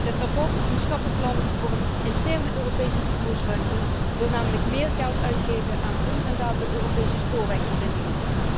Dit verslag, een stappenplan voor een interne Europese vervoersruimte, wil namelijk meer geld uitgeven aan onrendabele Europese spoorwegverbindingen.